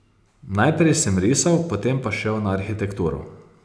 Najprej sem risal, potem pa šel na arhitekturo.